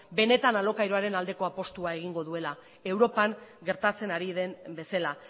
benetan alokairuaren aldeko apustua egingo duela europan gertatzen ari den bezala